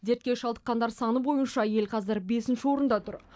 дертке шалдыққандар саны бойынша ел қазір бесінші орында тұр